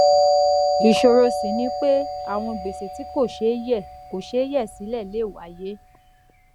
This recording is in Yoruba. ìṣòro ṣì ni pé àwọn gbèsè tí kò ṣeé yè kò ṣeé yè sílè lè wáyé